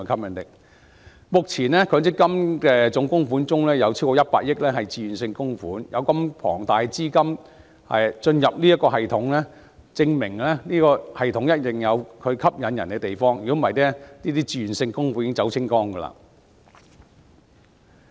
目前，強積金總供款中有超過100億元為自願性供款，有如此龐大的資金進入這個系統，證明一定有其吸引之處，否則自願性供款早已全部撤走。